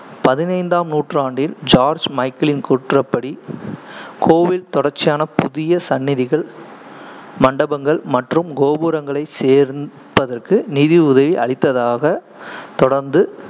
பதினைந்தாம் நூற்றாண்டில், ஜார்ஜ் மைக்கேலின் கூற்றுப்படி, கோவில் தொடர்ச்சியான புதிய சன்னிதிகள், மண்டபங்கள் மற்றும் கோபுரங்களைச் சேர்ப்பதற்கு நிதியுதவி அளித்ததாக தொடர்ந்து